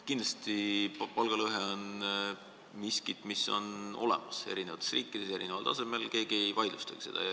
Kindlasti on palgalõhe miski, mis on olemas, eri riikidel on see erineval tasemel, keegi ei vaidlustagi seda.